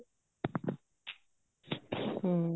ਹਮ